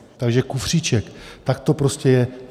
Takže kufříček, tak to prostě je.